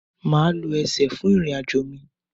Maa lo ẹsẹ fun irin-ajo mi